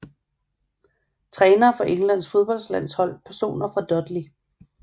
Trænere for Englands fodboldlandshold Personer fra Dudley